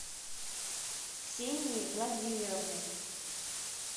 ксенией владимировной